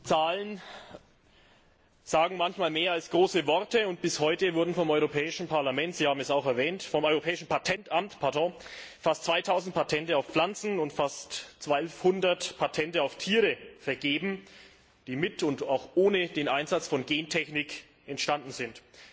Zahlen sagen manchmal mehr als große Worte, und bis heute wurden vom Europäischen Patentamt Sie haben es auch erwähnt fast 2000 Patente auf Pflanzen und fast 1200 Patente auf Tiere vergeben, die mit und auch ohne den Einsatz von Gentechnik entstanden sind.